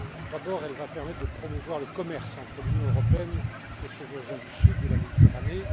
D'abord, elle va permettre de promouvoir le commerce entre l'Union européenne et ses voisins du sud de la Méditerranée.